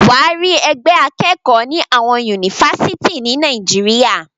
Wàá rí ẹgbẹ́ akẹ́kọ̀ọ́ ni àwọn Yunifásítì ni Nàìjíríà.